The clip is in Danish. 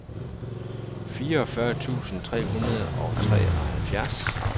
fireogfyrre tusind tre hundrede og treoghalvfems